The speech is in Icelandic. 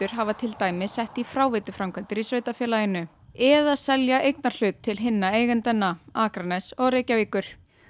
hafa til dæmis sett í fráveituframkvæmdir í sveitarfélaginu eða selja eignarhlut til hinna eigendanna Akraness og Reykjavíkur